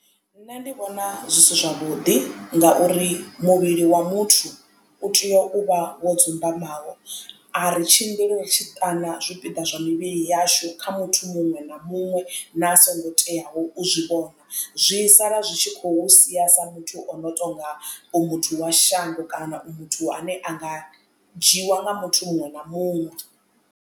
Nṋe ndi vhona zwi si zwavhuḓi ngauri muvhili wa muthu u tea u vha wo dzumbamaho ari tshimbili ri tshi ṱana zwipiḓa zwa mivhili yashu kha muthu muṅwe na muṅwe na a songo tea u zwi vhona zwi sala zwi tshi khou sia sa muthu ono tonga u muthu wa shango kana u muthu ane a nga dzhiiwa nga muthu muṅwe na muṅwe.